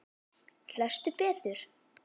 Lestu betur!